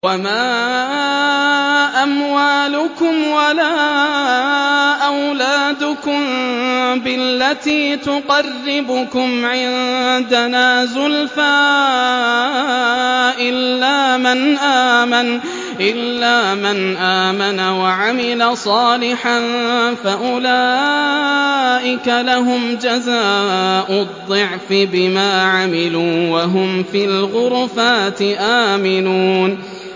وَمَا أَمْوَالُكُمْ وَلَا أَوْلَادُكُم بِالَّتِي تُقَرِّبُكُمْ عِندَنَا زُلْفَىٰ إِلَّا مَنْ آمَنَ وَعَمِلَ صَالِحًا فَأُولَٰئِكَ لَهُمْ جَزَاءُ الضِّعْفِ بِمَا عَمِلُوا وَهُمْ فِي الْغُرُفَاتِ آمِنُونَ